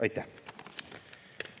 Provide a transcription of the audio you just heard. Aitäh!